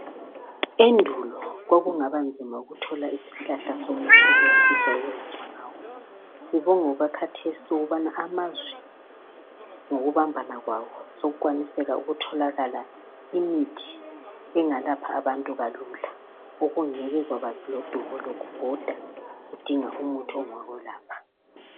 Endulo kwakungaba nzima ukuthola isihlahla somuthi okungafisa ukulatshwa ngawo sibonge okwakhathesi ukubana amazwe ngokubambana kwawo sokukwaniseka ukutholakala imithi engalapha abantu kalula okungeke kwaba lodubo lokubhoda udinga umuthi ongakwelapha.